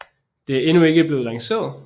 Det er endnu ikke blevet lanceret